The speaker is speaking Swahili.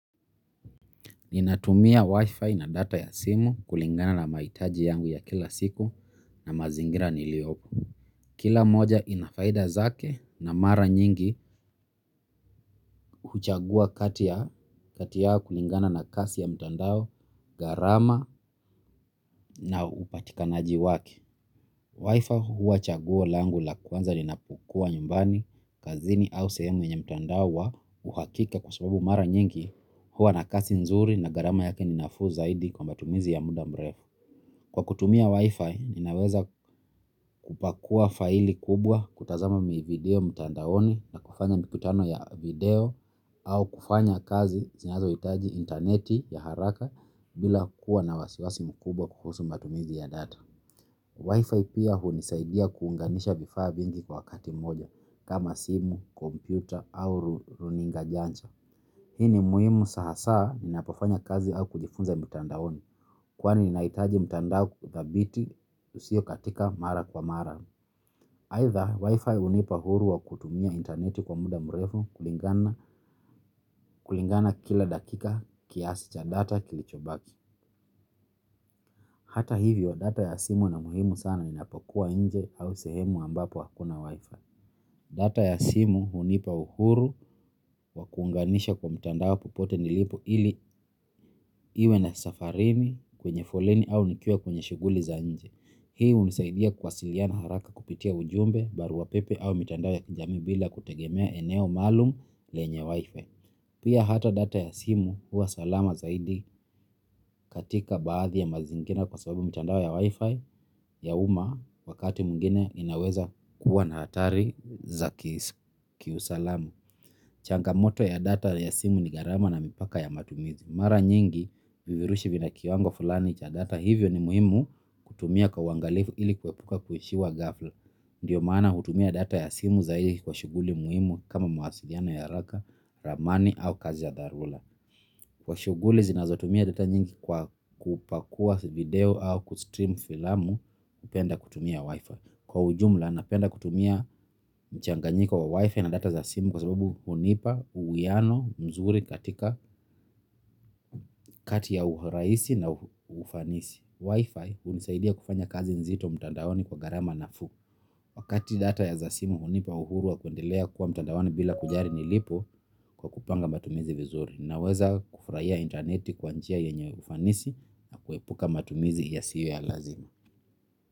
Ninatumia wifi na data ya simu kulingana na mahitaji yangu ya kila siku na mazingira niliopo. Kila moja inafaida zake na mara nyingi huchagua kati ya kati yao kulingana na kasi ya mtandao gharama na upatikanaji wake. Wifi huwa chaguo langu la kwanza ninapokuwa nyumbani kazini au sehemu yenye mtandao wa uhakika kwa sababu mara nyingi hyua na kasi nzuri na gharama yake ni nafu zaidi kwa matumizi ya muda mrefu. Kwa kutumia Wi-Fi, ninaweza kupakua faili kubwa kutazama video mtandaoni na kufanya mikutano ya video au kufanya kazi zinazo hitaji interneti ya haraka bila kuwa na wasiwasi mkubwa kuhusu matumizi ya data. Wi-Fi pia hunisaidia kuunganisha vifaa vingi kwa wakati moja kama simu, kompyuta au runinga janja. Hii ni muhimu sa hasa ni napofanya kazi au kujifunza mtandaoni kwani nahitaji mtandao kutabiti usio katika mara kwa mara. Aidha wifi hunipa huru wa kutumia intaneti kwa muda mrefu kulingana kila dakika kiasi cha data kilichobaki. Hata hivyo data ya simu ina muhimu sana ni napokua inje au sehemu ambapo hakuna wifi. Data ya simu hunipa uhuru wa kuunganisha kwa mtando popote nilipo ili iwe na safarini kwenye foleni au nikiwa kwenye shughuli za nje. Hii hunisaidia kuwasiliana haraka kupitia ujumbe baru wa pepe au mtandao ya kijamii bila kutegemea eneo maalum lenye wifi. Pia hata data ya simu huwa salama zaidi katika baadhi ya mazingira kwa sababu mtandao ya wifi ya uma wakati mwingine inaweza kuwa na hatari za kiusalama. Changamoto ya data ya simu ni gharama na mipaka ya matumizi. Mara nyingi vivirushi vina kiwango fulani cha data hivyo ni muhimu kutumia kwa uwangalifu ili kuepuka kuishiwa ghafla. Ndiyo maana hutumia data ya simu zaidi kwa shughuli muhimu kama mawasiliano ya haraka, ramani au kazi ya dharura. Kwa shughuli zinazotumia data nyingi kwa kupakua video au kustream filamu hupenda kutumia wifi. Kwa ujumla napenda kutumia mchanganyiko wa wifi na data za simu kwa sababu hunipa uwiano mzuri katika kati ya urahisi na ufanisi. Wifi hunisaidia kufanya kazi nzito mtandaoni kwa gharama nafuu. Wakati data ya za simu hunipa uhuru wa kuendelea kuwa mtandaoni bila kujali nilipo kwa kupanga matumizi vizuri naweza kufurahia intaneti kwa njia yenye ufanisi na kuepuka matumizi ya siyo ya lazima.